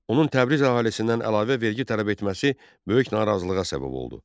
Onun Təbriz əhalisindən əlavə vergi tələb etməsi böyük narazılığa səbəb oldu.